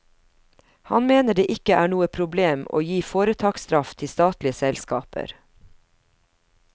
Han mener det ikke er noe problem å gi foretaksstraff til statlige selskaper.